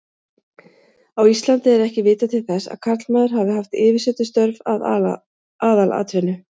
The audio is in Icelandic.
Á Íslandi er ekki vitað til þess að karlmaður hafi haft yfirsetustörf að aðalatvinnu.